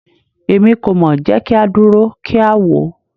Emi ko mọ, jẹ ki a duro ki a wo